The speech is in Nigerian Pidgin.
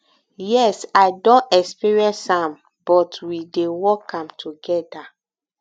yes i don experience am but we dey work am together